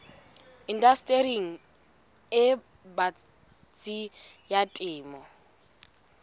indastering e batsi ya temo